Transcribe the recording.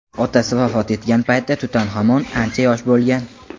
Otasi vafot etgan paytda Tutanxamon ancha yosh bo‘lgan.